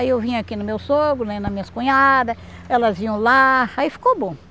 Aí eu vinha aqui no meu sogro vinha nas minhas cunhadas, elas iam lá, aí ficou bom.